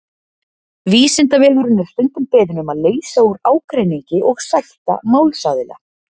Vísindavefurinn er stundum beðinn um að leysa úr ágreiningi og sætta málsaðila.